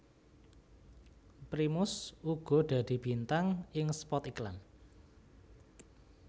Primus uga dadi bintang ing spot iklan